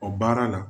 O baara na